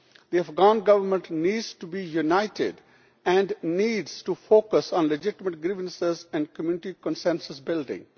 The Afghan Government needs to be united and needs to focus on legitimate grievances and community consensus building.